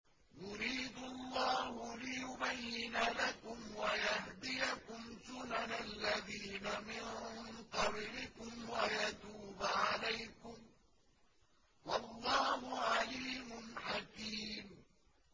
يُرِيدُ اللَّهُ لِيُبَيِّنَ لَكُمْ وَيَهْدِيَكُمْ سُنَنَ الَّذِينَ مِن قَبْلِكُمْ وَيَتُوبَ عَلَيْكُمْ ۗ وَاللَّهُ عَلِيمٌ حَكِيمٌ